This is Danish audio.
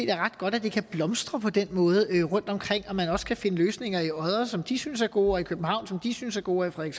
er ret godt at det kan blomstre på den måde rundtomkring og at man også kan finde løsninger i odder som de synes er gode og i københavn som de synes er gode og i